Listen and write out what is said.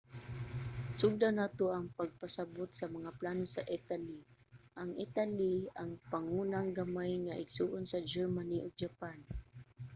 sugdan nato ang pagpasabot sa mga plano sa italy. ang italy ang pangunang gamay nga igsoon sa germany ug japan